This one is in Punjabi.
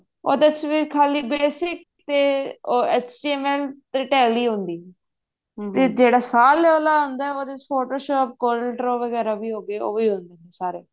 ਉਹਦੇ ਚ ਖਾਲੀ basic ਤੇ HTML ਤੇ tele ਹੁੰਦੀ ਹੈ ਜਿਹੜਾ ਸਾਲ ਵਾਲਾ ਆਉਂਦਾ Photoshop ਵਗੇਰਾ ਵੀ ਹੋਗੇ ਉਹ ਵੀ ਹੋ ਜਾਂਦੇ ਸਾਰੇ